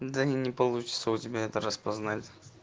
да не получится у тебя это распознать